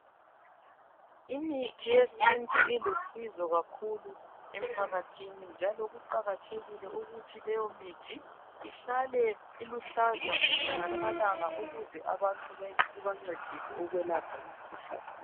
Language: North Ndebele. Imithi yesintu ilusizo kakhulu emphakathini njalo, kuqakathekile ukuthi leyo mithi, ihlale uluhlaza mihla lamalanga ukuze abantu ibancedise ukwelapha imkhuhlane